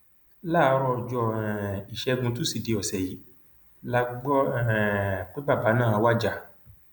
láàárọ ọjọ um ìṣẹgun tusidee ọsẹ yìí la gbọ um pé bàbá náà wájà